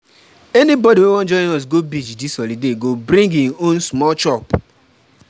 Anybodi wey wan join us go beach dis holiday go bring im own small chop.